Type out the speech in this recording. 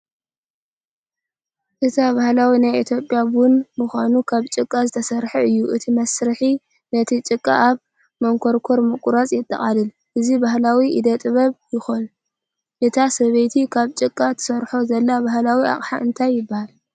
እቲ ባህላዊ ናይ ኢትዮጵያ ቡን ማንካ ካብ ጭቃ ዝተሰርሐ እዩ። እቲ መስርሕ ነቲ ጭቃ ኣብ መንኰርኰር ምቕራጽ የጠቓልል። እዚ ባህላዊ ኢደ ጥበብ ኮይኑ፡ እታ ሰበይቲ ካብ ጭቃ ትሰርሖ ዘላ ባህላዊ ኣቕሓ እንታይ ይበሃል?